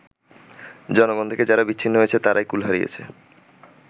জনগণ থেকে যারা বিচ্ছিন্ন হয়েছে তারাই কুল হারিয়েছে”।